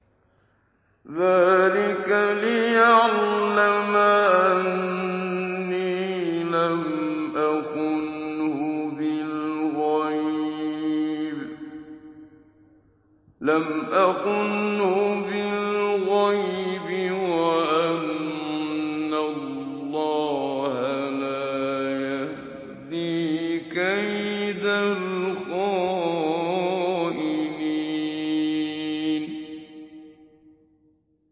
ذَٰلِكَ لِيَعْلَمَ أَنِّي لَمْ أَخُنْهُ بِالْغَيْبِ وَأَنَّ اللَّهَ لَا يَهْدِي كَيْدَ الْخَائِنِينَ